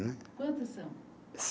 Quantos são?